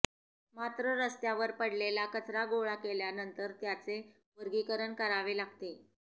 मात्र रस्त्यावर पडलेला कचरा गोळा केल्यानंतर त्याचे वर्गीकरण करावे लागते